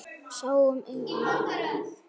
Sáum engan.